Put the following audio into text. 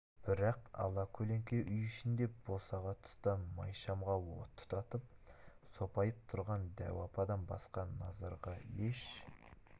бірақ ала көлеңке үй ішінде босаға тұста май шамға от тұтатып сопайып тұрған дәу ападан басқа назарға еш